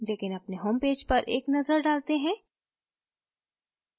लेकिन अपने होमपेज पर एक नज़र डालते हैं